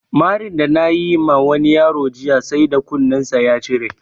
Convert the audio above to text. Marin da nayi ma wani yaro jiya sai da kunin sa ya cire